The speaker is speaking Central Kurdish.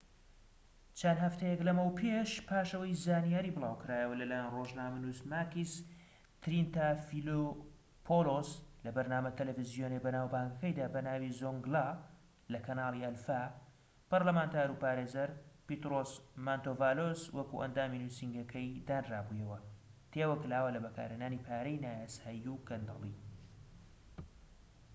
چەند هەفتەیەك لەمەوپێش پاش ئەوەی زانیاری بڵاوکرایەوە لەلایەن ڕۆژنامەنووس ماکیس ترینتافیلۆپۆلۆس لە بەرنامە تەلەڤیزۆنیە بەناوبانگەکەیدا بەناوی زۆنگلا لە کەنالی ئەلفا پەرلەمانتار و پارێزەر پێترۆس مانتۆڤالۆس وەکو ئەندامی نوسینگەکەی دانرابوویەوە تێوەگلاوە لە بەکارهێنانی پارەی نایاسایی و گەندەڵی